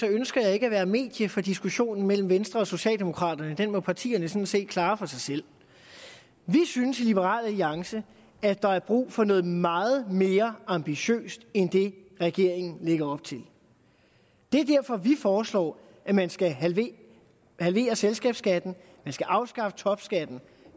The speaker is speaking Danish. ønsker jeg ikke at være medie for diskussionen mellem venstre og socialdemokraterne den må partierne sådan set klare for sig selv vi synes i liberal alliance at der er brug for noget meget mere ambitiøst end det regeringen lægger op til det er derfor vi foreslår at man skal halvere halvere selskabsskatten at man skal afskaffe topskatten